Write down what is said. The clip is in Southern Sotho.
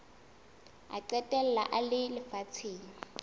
a qetella a le lefatsheng